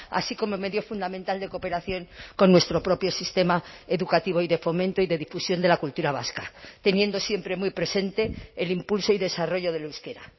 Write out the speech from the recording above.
así como medio fundamental de cooperación con nuestro propio sistema educativo y de fomento y de difusión de la cultura vasca teniendo siempre muy presente el impulso y desarrollo del euskera